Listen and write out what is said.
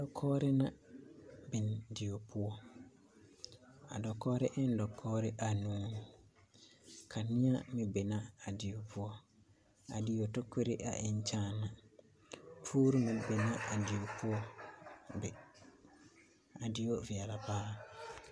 Dakoɔre na biŋ die poɔ. A dakoɔre en dakoɔre anuu. Kaneɛ meŋ be na a die poɔ. A die tokore a en kyaana. Poore meŋ be na a die poɔ be. A die veɛla paaa